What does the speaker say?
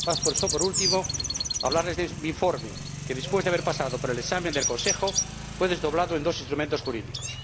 Paso, por último, a hablarles de mi informe, que, después de haber pasado por el examen del Consejo, fue desdoblado en dos instrumentos jurídicos.